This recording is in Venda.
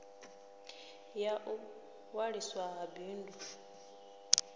ya u ṅwaliswa ha bindu